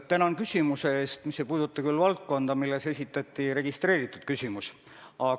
Tänan küsimuse eest, kuigi see ei puuduta valdkonda, milles esitati registreeritud küsimus!